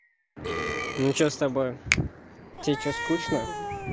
ну что с тобой тебе что скучно